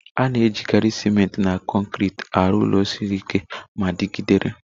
A na-ejikarị ciment na kọnkịtị arụ ụlọ siri ike ma dịgidere.